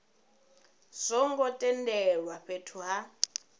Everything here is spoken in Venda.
zwo ngo tendelwa fhethu ha